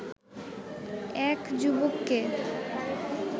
এক যুবককে